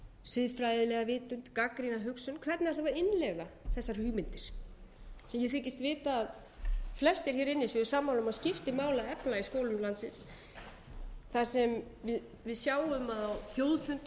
siðfræðilega vitund gagnrýna hugsun hvernig ætlum við að innleiða þessar hugmyndir ég þykist vita að flestir hér inni séu sammála um að skipti máli að efla í skólum landsins það sem við sjáum að á þjóðfundi um